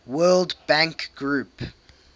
world bank group